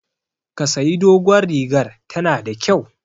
Ki sayi dogon rigar, ta na da kyau!